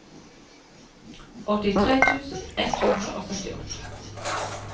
åttitre tusen ett hundre og syttiåtte